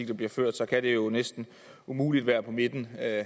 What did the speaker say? der bliver ført så kan det jo næsten umuligt være på midten af